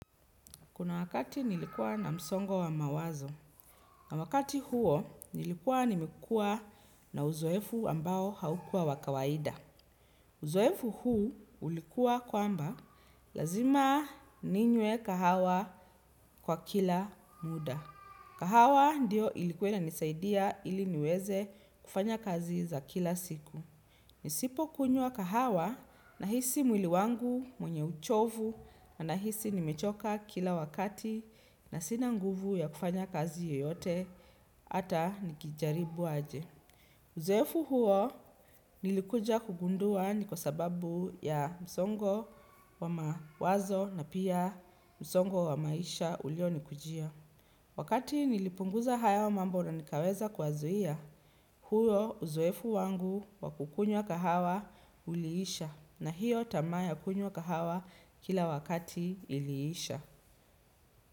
Kuna wakati nilikuwa na msongo wa mawazo, na wakati huo nilikuwa nimekuwa na uzoefu ambao haukuwa wa kawaida. Uzoefu huu ulikuwa kwamba lazima ninywe kahawa kwa kila muda. Kahawa ndiyo ilikuwa inanisaidia ili niweze kufanya kazi za kila siku. Nisipokunywa kahawa nahisi mwili wangu mwenye uchovu na nahisi nimechoka kila wakati na sina nguvu ya kufanya kazi yeyote hata nikijaribu aje. Uzoefu huo nilikuja kugundua ni kwa sababu ya msongo wa mawazo na pia msongo wa maisha ulionikujia. Wakati nilipunguza haya mambo na nikaweza kuyazuia, huo uzoefu wangu wa kukunywa kahawa uliisha na hiyo tamaa ya kunywa kahawa kila wakati iliisha.